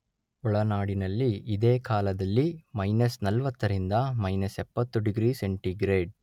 ಒಳನಾಡಿನಲ್ಲಿ ಇದೇ ಕಾಲದಲ್ಲಿ ಮಯ್ನಸ್ ನಲ್ವತ್ತರಿಂದ ಮಯ್ನಸ್ ಎಪ್ಪತ್ತು ಡಿಗ್ರಿ ಸೆಂಟಿಗ್ರೇಡ್